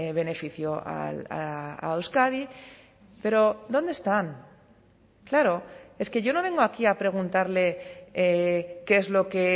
beneficio a euskadi pero dónde están claro es que yo no vengo aquí a preguntarle qué es lo que